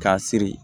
K'a siri